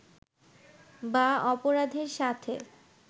বা অপরাধের সাথে